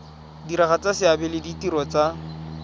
diragatsa seabe le ditiro tsa